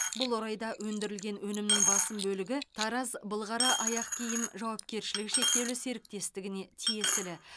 бұл орайда өндірілген өнімнің басым бөлігі тараз былғары аяқ киім жауапкершілігі шектеулі серіктестігіне тиесілі